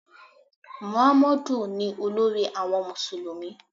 Mọ̀hámọ́dù ni olórí àwọn Mùsùlùmí.